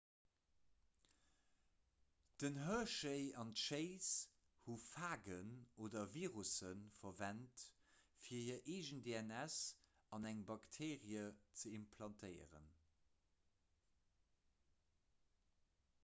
den hershey an d'chase hu phagen oder virusse verwent fir hir eegen dns an eng bakteerie ze implantéieren